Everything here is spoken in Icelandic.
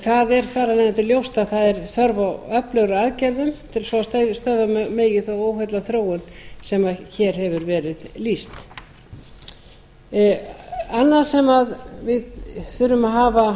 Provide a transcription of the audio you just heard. það er þar af leiðandi ljóst að það er þörf á öflugri aðgerðum svo stöðva megi þá óheillaþróun sem hér hefur verið lýst annað sem við þurfum